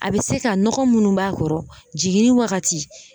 A be se ka nɔgɔ munnu b'a kɔrɔ jiginni wagati